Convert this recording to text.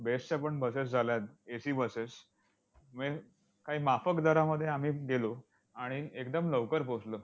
best च्यापण buses झाल्यात AC buses म्हणजे काही माफक दरामध्ये आम्ही गेलो आणि एकदम लवकर पोहोचलो.